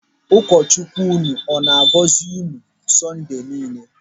Ụkọ Chukwu ụnụ ọ na-agọzi unu n'ụbọchị Sọnde niile.